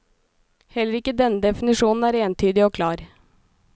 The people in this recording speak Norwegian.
Heller ikke denne definisjonen er entydig og klar.